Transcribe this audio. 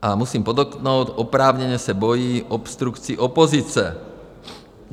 A musím podotknout, oprávněně se bojí obstrukcí opozice.